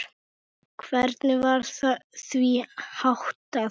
Hvernig var því háttað?